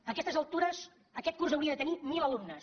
a aquestes altures aquest curs hauria de tenir mil alumnes